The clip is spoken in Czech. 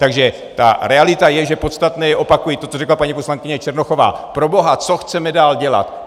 Takže ta realita je, že podstatné je - opakuji to, co řekla paní poslankyně Černochová - proboha, co chceme dál dělat?